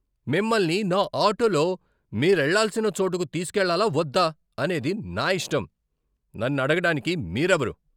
మిమ్మల్ని నా ఆటోలో మీరెళ్ళాల్సిన చోటుకు తీసుకెళ్లాలా వద్దా అనేది నా ఇష్టం. నన్ను అడగడానికి మీరెవరు?